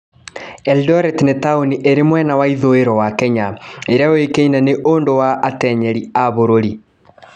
Eldoret nĩ taũni ĩrĩ mwena wa ithũĩro wa Kenya ĩrĩa yũĩkaine nĩ ũndũ wa atenyeri a bũrũri.